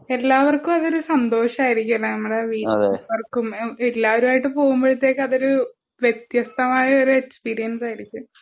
എല്ലാവർക്കും അതൊരു സന്തോഷം ആയിരിക്കും ലെ നമ്മുടെ വീട്ടിലെല്ലാവർക്കും എല്ലാവരും ആയിട്ട് പോകുമ്പൊഴത്തേക്കും അതൊരു വ്യത്യസ്തമായ ഒരു എക്സ്പീരിയൻസ് ആയിരിക്കും